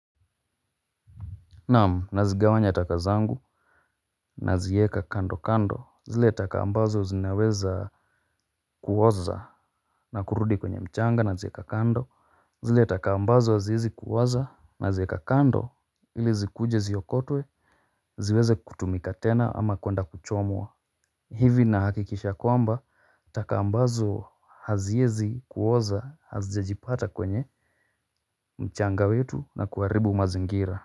Naam, nazigawanya taka zangu naziweka kando kando zile taka ambazo zinaweza kuoza na kurudi kwenye mchanga naziweka kando. Zile taka ambazo haziwezi kuoza naziweka kando ili zikuje ziokotwe ziweze kutumika tena ama kwenda kuchomwa. Hivi nahakikisha kwamba taka ambazo haziwezi kuoza hazijajipata kwenye mchanga wetu na kuaribu mazingira.